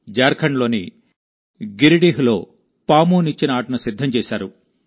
జార్ఖండ్లోని గిరిడీహ్లో పామునిచ్చెన ఆటను సిద్ధం చేశారు